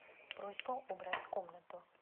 просьба убрать комнату